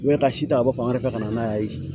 U bɛ ka si ta ka bɔ fan wɛrɛ fɛ ka na n'a ye